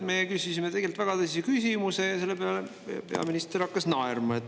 Me küsisime tegelikult väga tõsise küsimuse ja selle peale peaminister hakkas naerma.